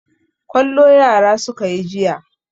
Kwallo yara suka yi jiya.